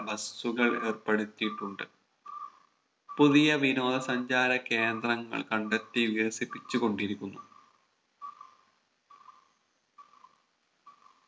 Bus കൾ ഏർപ്പെടുത്തിയിട്ടുണ്ട് പുതിയ വിനോദ സഞ്ചാര കേന്ദ്രങ്ങൾ കണ്ടെത്തി വികസിപ്പിച്ചു കൊണ്ടിരിക്കുന്നു